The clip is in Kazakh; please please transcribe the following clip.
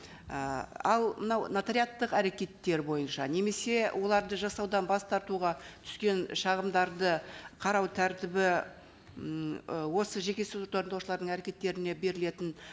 і ал мынау нотариаттық әрекеттер бойынша немесе оларды жасаудан бас тартуға түскен шағымдарды қарау тәртібі м ы осы жеке сот орындаушылардың әрекеттеріне берілетін